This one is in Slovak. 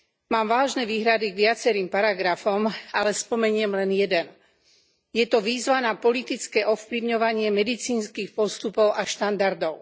Mám vážne výhrady k viacerým paragrafom, ale spomeniem len jeden je to výzva na politické ovplyvňovanie medicínskych postupov a štandardov.